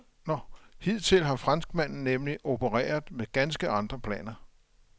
Hidtil har franskmanden nemlig opereret med ganske andre planer.